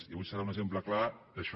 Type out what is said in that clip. i avui serà un exemple clar d’això